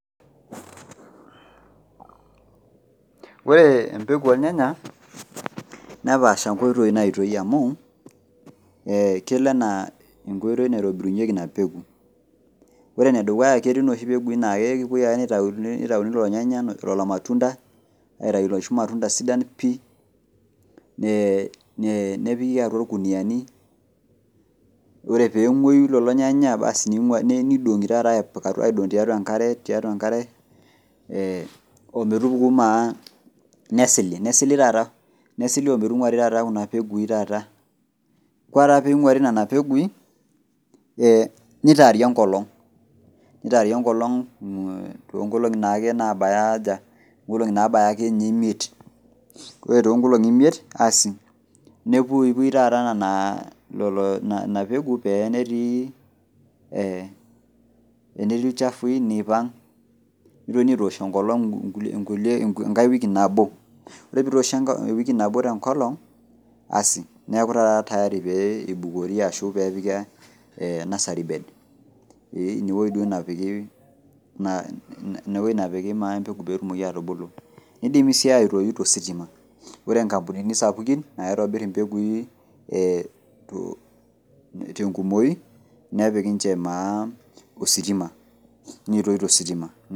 Ore empeku ornyanya nepaasha nkoitoi naitoi amu kelo ana enkoitoi naitobirunyeki inapeku ore enedukuya na ketiinoshi pekui na kepuoi ake nitauni lolo nyanya lolo matunda aitaubloshi matunda sidan pii nepiki atua irkuniani ore pengoyi lolo nyanya nidongi taata tiatua enkare ometupukanaa nesili taa ometunguaribnonapekui ore pinguari nona pekui nitaari enkolong tonkolongi nabaya imiet ore to kolongi imiet nepuipui taata inapeku pa tenetii ilchafui nioang nigilibaitoosh enkolong enkae wiki nabo ore pitoshi ewiki nabo tenkolong neaku na tayari pepiki nursery bed inewueji nai napiki empeku petumokibatubulu, nidimi si aitoyu tositima ore nkampunini sapukin naitobir mpekui tenkumoi nepik ninche ositima nitoi tositima.